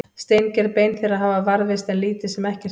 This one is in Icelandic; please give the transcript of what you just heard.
steingerð bein þeirra hafa varðveist en lítið sem ekkert annað